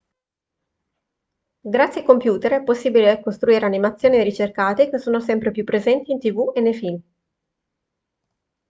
grazie ai computer è possibile costruire animazioni ricercate che sono sempre più presenti in tv e nei film